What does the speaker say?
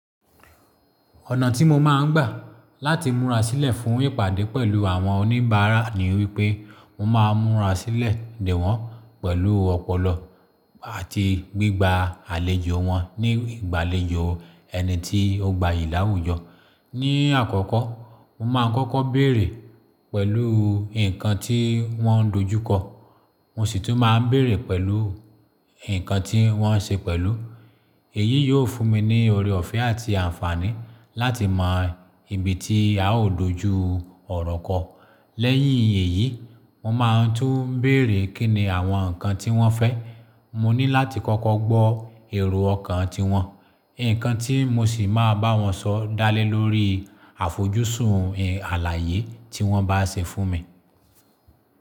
Ọ̀nà tí mo máa ń gbà láti múra sílẹ̀ fún ìpàdé pẹ̀lú àwọn oníbàárà ni wípé mo máa ń múra sílẹ̀ dè wọ́n pẹ̀lú ọpọlọ àti gbígba àlejò wọn ní ìgbàlejò ẹni tí ó gbayì láwùjọ. Ni àkọ́kọ́, mo máa ń kọ́kọ́ bèrè pẹ̀lú nǹkan tí wọ́n dojú kọ, mo sì tún máa ń bèrè pẹ̀lú nǹkan tí wọ́n ṣe pẹ̀lú. Èyí yóò fún mi ní oore ọ̀fẹ́ àti àǹfààní láti mọ ibi tí a ó dojú ọ̀rọ̀ kọ. Lẹ́yìn èyí, mo máa tún ń bèrè kí ni àwọn nǹkan tí wọ́n fẹ́. Mo ní láti kọ́kọ́ gbọ́ èrò ọkàn tiwọn, nǹkan tí mo sì máa bá wọn sọ dá lé lórí àfojúsùn àlàyé tí wọ́n bá ṣe fún mi.